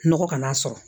Nɔgɔ kana sɔrɔ